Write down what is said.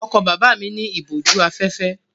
Ọkọ̀ bàbá mi ní ìbòjú-afẹ́fẹ́.